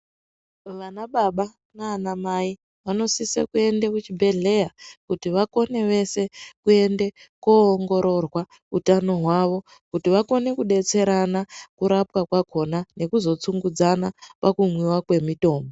Vana baba nana mai vanosise kuende kuchibhedhleya kuti vakone vese kuende koongororwa utano hwavo kuti vakone kudetserana kurapwa kwakhona nekuzotsungudzana pakumwiwa kwemitombo.